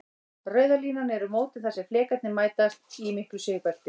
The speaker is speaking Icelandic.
Rauða línan eru mótin þar sem flekarnir mætast, í miklu sigbelti.